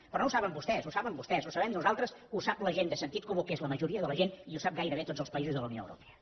però no ho saben vostès ho saben vostès ho sabem nosaltres ho sap la gent de sentit comú que és la majoria de la gent i ho saben gairebé tots els països de la unió europea